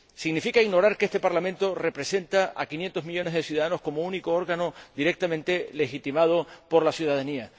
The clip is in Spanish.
significa también ignorar que este Parlamento representa a quinientos millones de ciudadanos como único órgano directamente legitimado por la ciudadanía